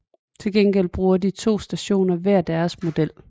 Til gengæld bruger de to stationer hver deres model